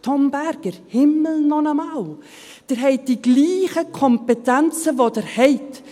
Tom Berger, Himmel noch einmal, Sie haben die gleichen Kompetenzen, die Sie haben!